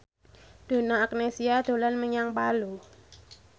Donna Agnesia dolan menyang Palu